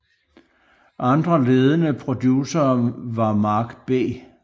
Andre ledende producere var Mark B